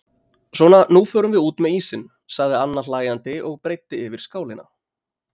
Svona nú förum við út með ísinn sagði Anna hlæjandi og breiddi yfir skálina.